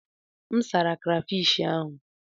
M sara krafish ahụ.